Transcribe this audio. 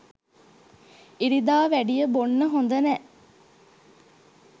ඉරිදා වැඩිය බොන්න හොඳ නෑ